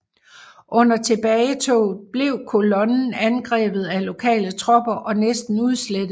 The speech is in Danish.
Under tilbagetoget blev kolonnen angrebet af lokale tropper og næsten udslettet